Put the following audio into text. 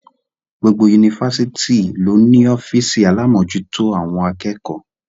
Gbogbo Yunifásitì ló ní ọ́fìsì alámòjútó àwọn akẹ́kọ̀ọ́.